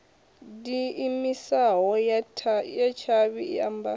diimisaho ya tshavhi i ambaho